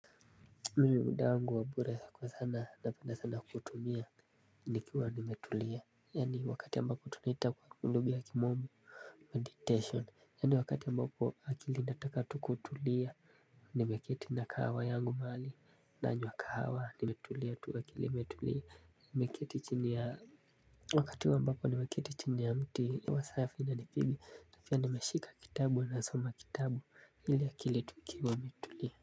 Mimi muda wangu wa mbure kwa sana napenda sana kutumia ni kiwa nimetulia. Yani wakati ambako tunaita kwa kuluga ya kimome Meditation yani wakati ambako akili nataka tukutulia. Nimeketi na kahawa yangu maali nanywa kahawa nimetulia tuakili metulia. Nimekiti chini ya wakati ambako nimekiti chini ya mti hewa safi na nipigi na pia nimeshika kitabu nasoma kitabu ili akili tukiwa metulia.